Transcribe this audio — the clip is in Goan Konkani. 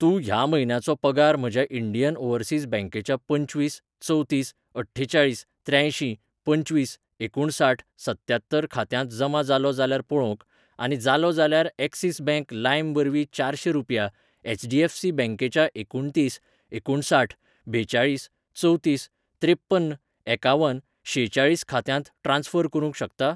तूं ह्या म्हयन्याचो पगार म्हज्या इंडियन ओवरसीज बॅंकेच्या पंचवीस चवतीस अठ्ठेचाळीस त्र्यांयशीं पंचवीस एकुणसाठ सत्त्यात्तर खात्यांत जमा जालो जाल्यार पळोवंक , आनी जालो जाल्यार एक्सिस बँक लाइम वरवीं चारशें रुपया एच.डी.एफ.सी बँकेच्या एकुणतीस एकुणसाठ बेचाळीस चवतीस त्रेप्पन एकावन शेचाळीस खात्यांत ट्रान्स्फर करूंक शकता ?